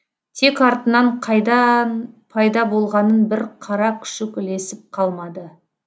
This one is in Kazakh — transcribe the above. тек артынан қайдан пайда болғанын бір қара күшік ілесіп қалмады